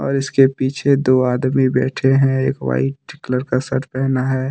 और इसके पीछे दो आदमी बैठे है और एक वाइट कलर का शर्ट पहना है।